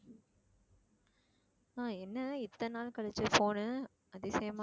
ஆஹ் என்ன இத்தனை நாள் கழிச்சு phone உ அதிசயமா